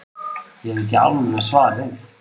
Ég hef ekki alveg svarið.